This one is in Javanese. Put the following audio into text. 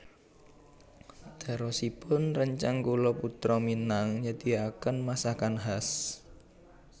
Terosipun rencang kula Putra Minang nyediaken masakan khas